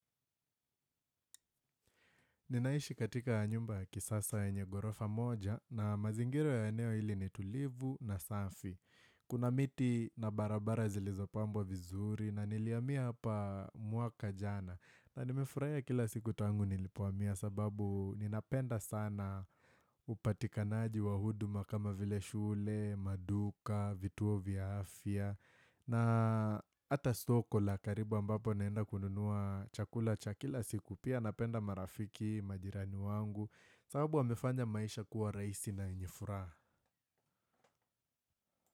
Ninaishi katika nyumba kisasa yenye ghorofa moja na mazingira ya eneo hili ni tulivu na safi. Kuna miti na barabara zilizopambwa vizuri na nilihamia hapa mwaka jana. Na nimefurahia kila siku tangu nilipohamia sababu ninapenda sana upatikanaji wa huduma kama vile shule, maduka, vituo vya afya. Na hata soko la karibu ambapo naenda kununua Chakula cha kila siku pia napenda marafiki majirani wangu sababu wamefanya maisha kuwa rahisi na yenye furaha.